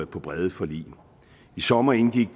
på brede forlig i sommer indgik